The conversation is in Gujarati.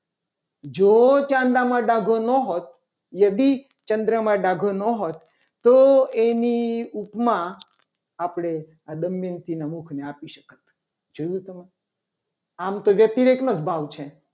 જો ચાંદામાં ડાઘો ના હોત. યદી ચંદ્રમાં ડાઘો ના હોત તો એની ઉપમા આપણે આ દમયંતી ના મુખને આપી શકત જોયું. તમે આમ તો વ્યતિરેકનો જ ભાવ છે.